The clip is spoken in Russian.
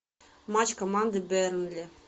матч команды бернли